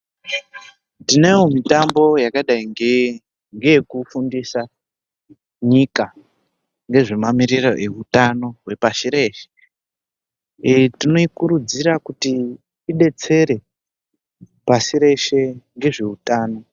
Tinayo mitambo yakadai nge ngeyekufundisa nyika ngezvemamiriro eutano wepashi reshe. Tinoikurudzira kuti idetsere pashi reshe ngezveutano .